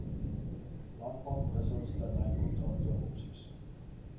landbankwissels termynkontrakte opsies